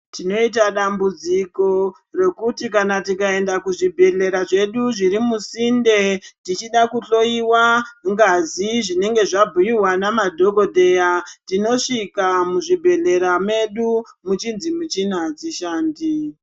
Tinoita dambudziko rokuti kana tikaenda kuzvibhehlera zvedu zviri musinde tichida kuhloyiwa ngazi zvinenge zvabhuyiwa namadhokodheya tinosvika muzvibhehlera medu tichinzi michina adzishandi.